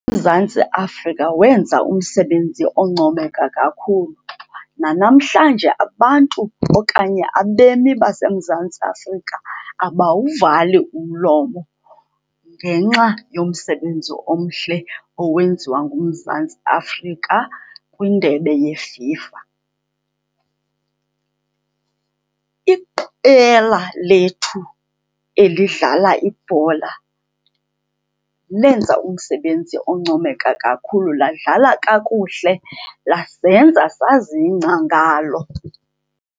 UMzantsi Afrika wenza umsebenzi oncomeka kakhulu. Nanamhlanje abantu okanye abemi baseMzantsi Afrika abawuvali umlomo ngenxa yomsebenzi omhle owenziwa nguMzantsi Afrika kwiNdebe yeFIFA. Iqela lethu elidlala ibhola lenza umsebenzi oncomeka kakhulu, ladlala kakuhle, lasenza sazingca ngalo.